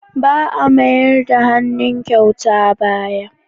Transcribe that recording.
Ba a mayar da hannun kyauta baya.